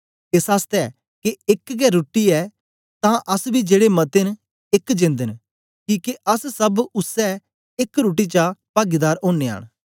एस आसतै के एक गै रुट्टी ऐ तां अस बी जेड़े मते न एक जेंद न किके अस सब उसै एक रुट्टी च पागीदार ओनयां न